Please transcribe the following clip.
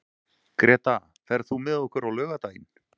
Greta, ferð þú með okkur á laugardaginn?